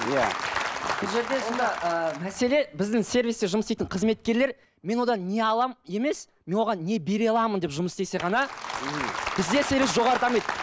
иә бұл жерде ыыы мәселе біздің сервисте жұмыс істейтін қызметкерлер мен одан не аламын емес мен оған не бере аламын деп жұмыс істесе ғана бізде сервис жоғары дамиды